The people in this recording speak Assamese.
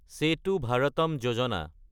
চেটো ভাৰতাম যোজনা